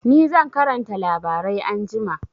Ni zan karanta labarai anjima.